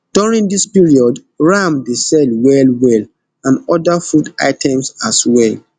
during dis period ram dey sell well well and oda food items as well